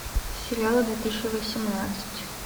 сериалы две тысячи восемнадцать